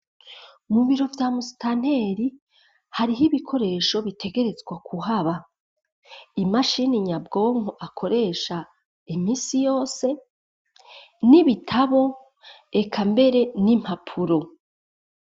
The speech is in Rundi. Mu biro vya I Mustanteri hari ho ibikoresho bitegerezwa kuhaba imashini nyabgonko akoresha iminsi yose nibitabo eka mbere n’impapuro .